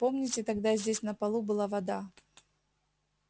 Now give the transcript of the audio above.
помните тогда здесь на полу была вода